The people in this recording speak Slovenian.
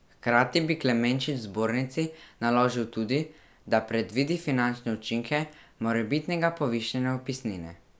Hkrati bi Klemenčič zbornici naložil tudi, da predvidi finančne učinke morebitnega povišanja vpisnine.